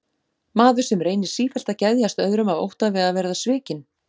Maður sem reynir sífellt að geðjast öðrum af ótta við að verða svikinn?